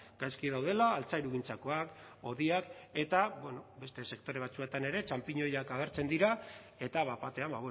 gaizki daudela altzairugintzakoa hodiak eta bueno beste sektore batzuetan ere txanpinoiak agertzen dira eta bat batean